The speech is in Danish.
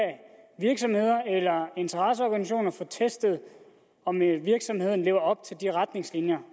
virksomheder eller interesseorganisationer få testet om virksomhederne lever op til de retningslinjer